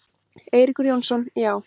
Eiríkur Jónsson: Já.